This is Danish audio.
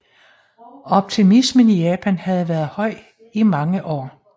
Optimismen i Japan havde været høj i mange år